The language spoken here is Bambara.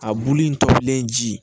A bulu in tobilen ji